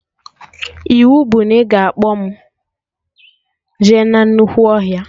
Iwu bụ na ị ga-akpọ mụ jee na nnukwu ọhịa